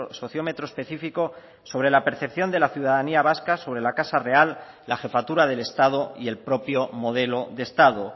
sociómetro específico sobre la percepción de la ciudadanía vasca sobre la casa real la jefatura del estado y el propio modelo de estado